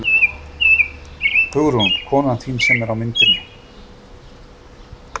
Hugrún: Konan þín sem er á myndinni?